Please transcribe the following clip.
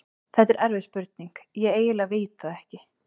Þetta er erfið spurning, ég eiginlega veit það ekki.